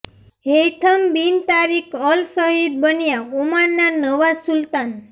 હૈયથમ બિન તારિક અલ સઈદ બન્યા ઓમાનના નવા સુલતાન